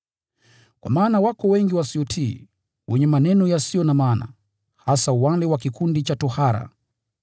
Kwa maana wako wengi wasiotii, wenye maneno yasiyo na maana, hasa wale wa kikundi cha tohara.